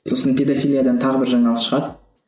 сосын педофилиядан тағы бір жаңалық шығады